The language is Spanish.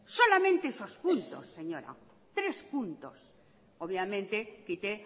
solamente esos puntos señora tres puntos obviamente quité